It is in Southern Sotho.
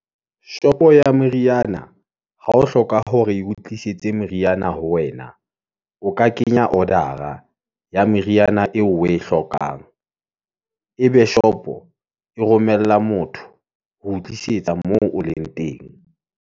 Shopo ya meriana, ha o hloka hore e o tlisetse meriana ho wena, o ka kenya order-a ya meriana eo o e hlokang , e be shop-o e romella motho, ho tlisetsa moo o leng teng.